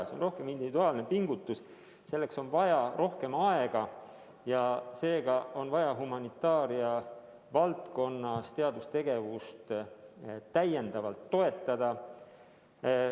See on rohkem individuaalne pingutus, selleks on vaja rohkem aega ja seega on vaja humanitaaria valdkonnas teadustegevust täiendavalt toetada.